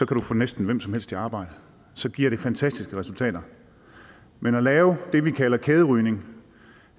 kan du få næsten hvem som helst i arbejde så giver det fantastiske resultater men at lave det vi kalder kæderygning